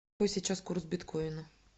какой сейчас курс биткоина